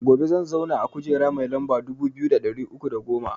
Gobe zan zauna a kujera mai lamba dubu biyu da ɗari uku da goma